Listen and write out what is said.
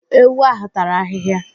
Ewu ahụ tara ahịhịa.